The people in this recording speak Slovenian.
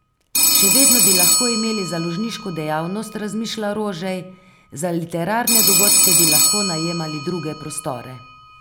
Še vedno bi lahko imeli založniško dejavnost, razmišlja Rožej, za literarne dogodke bi lahko najemali druge prostore.